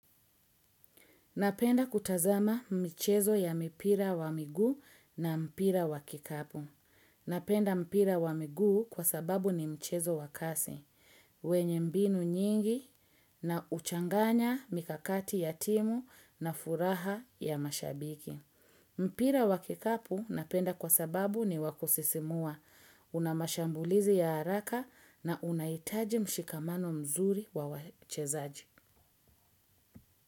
Napenda kutazama mchezo ya mipira wa miguu na mpira wa kikapu. Napenda mpira wa miguu kwa sababu ni mchezo wa kasi, wenye mbinu nyingi na huchanganya mikakati ya timu na furaha ya mashabiki. Mpira wa kikapu napenda kwa sababu ni wa kusisimua, una mashambulizi ya haraka na unahitaji mshikamano mzuri wa wachezaji.